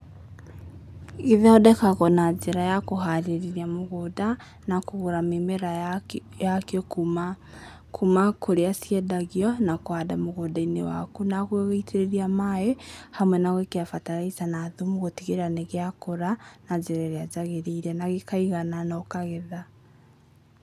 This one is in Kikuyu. Gĩthondekagwo na njĩra ya kũharĩrĩria mũgũnda, na kũgũra mĩmera yakĩo kuma, kuma kũrĩa ciendagio na kũhanda mũgũnda-inĩ waku na gũgĩitĩrĩria maaĩ, hamwe na gũĩkĩra bataraitha na thumu gũtigĩrĩra nĩ gĩakũra, na njĩra ĩrĩa yagĩrĩire, na gĩkaigana na ũkagetha.